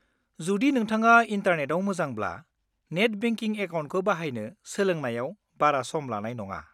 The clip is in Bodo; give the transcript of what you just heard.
जुदि नोंथाङा इन्टारनेटाव मोजांब्ला, नेट बेंकिं एकाउन्टखौ बाहायनो सोलोंनायाव बारा सम लानाय नङा।